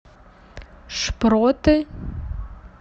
шпроты